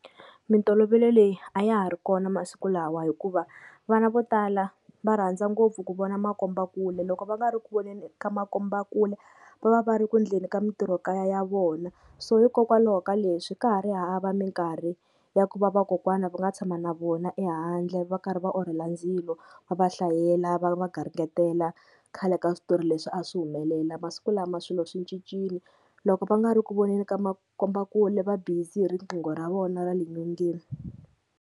Mintolovelo leyi a ya ha ri kona masiku lawa hikuva vana vo tala va rhandza ngopfu ku vona makombakule, loko va nga ri ku voneni ka makombakule va va va ri ku endleni ka mintirho kaya ya vona. So hikokwalaho ka leswi ka ha ri hava minkarhi ya ku va vakokwana va nga tshama na vona ehandle va karhi va orhela ndzilo va va hlayela va va garingetela khale ka switori leswi a swi humelela. Masiku lama swilo swi cincile loko va nga ri ku voneni ka makombakule va busy hi riqingho ra vona ra le nyongeni.